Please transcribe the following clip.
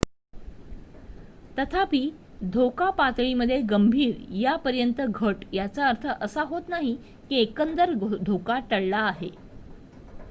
तथापि धोका पातळी मध्ये गंभीर यापर्यंत घट याचा अर्थ असा होत नाही की एकंदर धोका टळला आहे